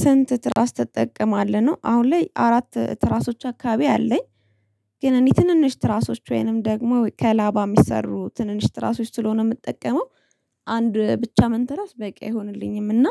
ስንት? ትራስ ተጠቀማለህ ነው አሁን ላይ አራት ትራሶች አካባቢ አለኝ። ግን እኔ ትንንሽ ትራሶች ወይንም ደግሞ ከላባ የሚሰሩ ትንንሽ ትራሶች ስለሆነ የምጠቀመው። አንድ ብቻ መንተራስ በቂ አይሆንልኝም እና